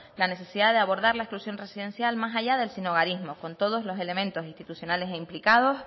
la necesidad de abordar la exclusión residencial más allá del sinhogarismo con todos los elementos institucionales implicados